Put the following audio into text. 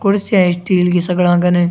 कुर्सियां स्टील की सगळा कने।